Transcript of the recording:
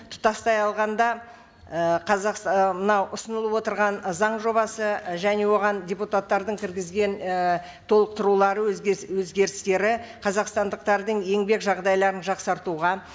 тұтастай алғанда і мынау ұсынылып отырған заң жобасы і және оған депутаттардың кіргізген і толықтырулар өзгерістері қазақстандықтардың еңбек жағдайларын жақсартуға